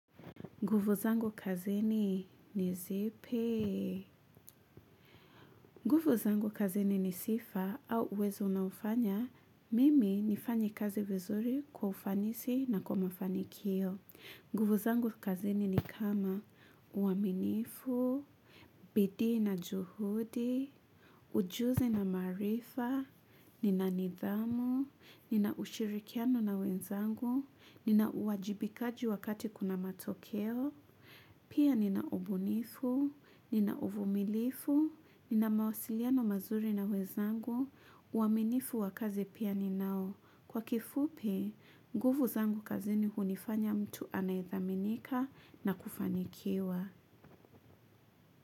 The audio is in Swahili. Nguvu zangu kazini ni zipi. Nguvu zangu kazini ni sifa au uwezo unaofanya. Mimi nifanye kazi vizuri kwa ufanisi na kwa mafanikio. Nguvu zangu kazini ni kama uaminifu, bidii na juhudi, ujuzi na maarifa, nina nidhamu, nina ushirikiano na wenzangu, nina uwajibikaji wakati kuna matokeo. Pia nina ubunifu, nina uvumilivu, nina mawasiliano mazuri na wezangu, uaminifu wa kazi pia ninao. Kwa kifupi, nguvu zangu kazini hunifanya mtu anayethaminika na kufanikiwa.